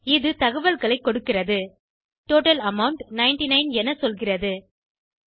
இது தகவல்களை கொடுக்கிறது டோட்டல் அமவுண்ட் 99 என சொல்கிறது